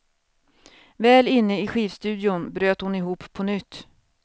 Väl inne i skivstudion bröt hon ihop på nytt.